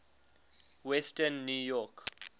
western new york